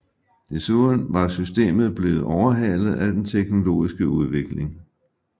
Desuden var systemet blevet overhalet af den teknologiske udvikling